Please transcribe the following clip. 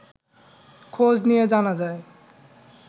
খোঁজ নিয়ে জানা যায়